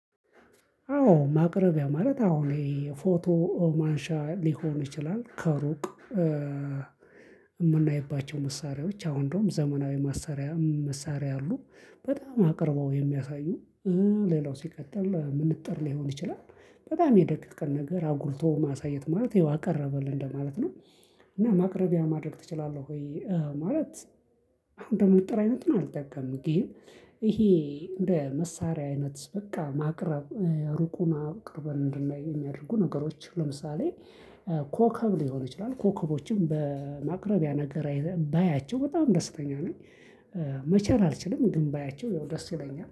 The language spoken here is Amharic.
አዎ ማቅረቢያ ማለት አሁን ይሄ ፎቶ ማንሻ ሊሆን ይችላል ከሩቅ። የምናይባቸው መሳሪያዎች አሁን እንደውም ዘመናዊ መሳሪያ መሳሪያ አሉ በጣም አቅርበው የሚያሳዩ። ሌላው ሲቀጥል መነፀር ሊሆን ይችላል በጣም የደቀቀን ነገር አቅርቦ አሳየን ማለት ነው። እንግዲህ ማቅረቢያ ማድረግ ትችላለህ። መለት እንደ መነፀር አይነቱን አልጠቀምም ግን። ይሄ እንደ መሳሪያ አይነት በቃ ማቅረብ ሩቁን አቅርበን እንድናይ የሚያደርጉ ነገሮች ለምሳሌ ኮከብ ሊሆን ይችላል ኮከቦችን በማቅረብ በማቅረቢያ ነገር ባያቸው በጣም ደስተኛ ነኝ። መቻል አልችልም ግን ባያቸው ደስ ይለኛል